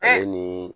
Ale ni